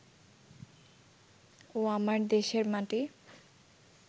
ও আমার দেশের মাটি